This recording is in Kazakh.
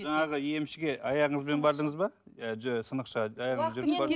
жаңағы емшіге аяғыңызбен бардыңыз ба сынықшыға аяғыңызбен жүріп